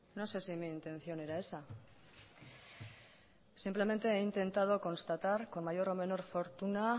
no sé si mi intención era esa simplemente he intentado constatar con mayor o menor fortuna